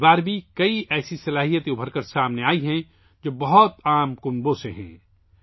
اس بار بھی بہت سے ایسی صلاحیتیں سامنے آئی ہیں، جن کا تعلق بہت ہی عام گھرانوں سے ہیں